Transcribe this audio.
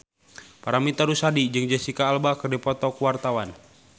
Paramitha Rusady jeung Jesicca Alba keur dipoto ku wartawan